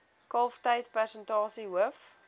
kalftyd persentasie hoof